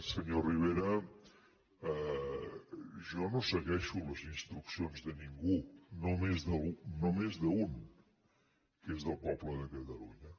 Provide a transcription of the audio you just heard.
senyor rivera jo no segueixo les instruccions de ningú només d’un que és del poble de catalunya